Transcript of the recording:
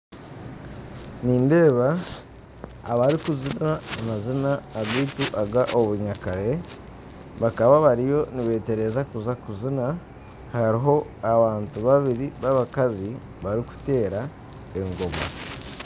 Nindeeba abarikuzina amazina agaitu agobunyakare bakaba bariyo nibetereza kuza kuzina hariho abantu babiri babakazi barikuteera engoma